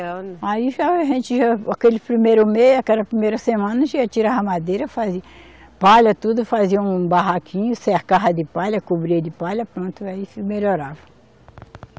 Aí já, a gente já, aquele primeiro mês, aquela primeira semana, a gente tirava madeira, fazia palha tudo, fazia um barraquinho, cercava de palha, cobria de palha, pronto, aí se melhorava.